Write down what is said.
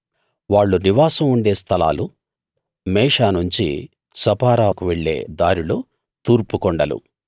వాళ్ళు నివాసం ఉండే స్థలాలు మేషా నుంచి సపారాకు వెళ్ళే దారిలో తూర్పు కొండలు